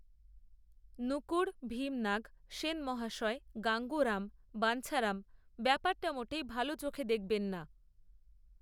নকূড়, ভীমনাগ, সেনমহাশয়, গাঙ্গুরাম, বাঞ্ছারাম ব্যাপারটা মোটেই ভাল চোখে দেখবেন না